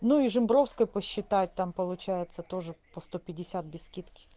ну и жембровской посчитать там получается тоже по сто пятьдесят без скидки